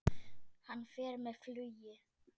Hann fer með flugi.